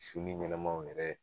Su ni ɲɛnnɛmaw yɛrɛ